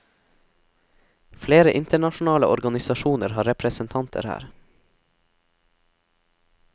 Flere internasjonale organisasjoner har representanter her.